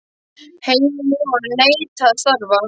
Heilinn í honum neitaði að starfa.